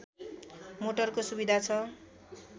मोटरको सुविधा छ